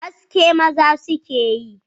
Haski maza su ke yi